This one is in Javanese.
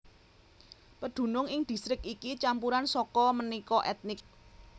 Pedunung ing distrik iki campuran saka manéka ètnik